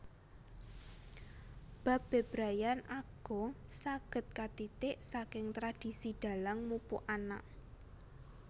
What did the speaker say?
Bab bebrayan agung saged katitik saking tradisi Dhalang mupu anak